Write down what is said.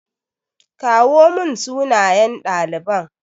kawo mun sunayen ɗaliban.